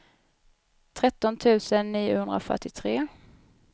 tretton tusen niohundrafyrtiotre